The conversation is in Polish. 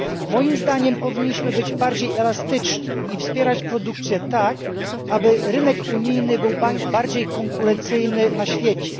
Moim zdaniem powinniśmy być bardziej elastyczni i wspierać produkcję tak, aby rynek unijny był bardziej konkurencyjny na świecie.